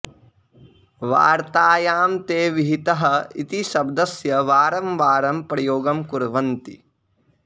वार्तायां ते विहितः इति शब्दस्य वारं वारं प्रयोगं कुर्वन्ति